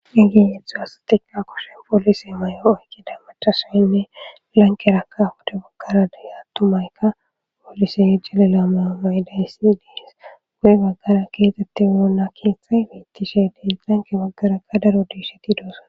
egi yeththo asatika koshen poolise may7o oykida machasoynne lankeraka hude baggara deya tumaykka poolise yejjalila mayo mayidayyssi dees gu7e baggara keetette woona keeththay beittishe dees lanke baggarakka daro diisheti doosa